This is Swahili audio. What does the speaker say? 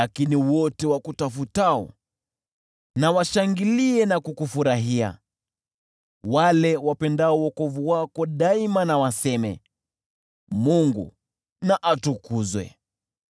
Lakini wote wakutafutao washangilie na kukufurahia, wale wapendao wokovu wako siku zote waseme, “Mungu na atukuzwe!”